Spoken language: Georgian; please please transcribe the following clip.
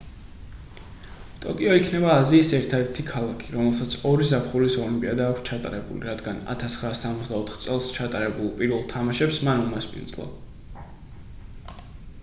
ტოკიო იქნება აზიის ერთადერთი ქალაქი რომელსაც ორი ზაფხულის ოლიმპიადა აქვს ჩატარებული რადგან 1964 წელს ჩატარებულ პირველ თამაშებს მან უმასპინძლა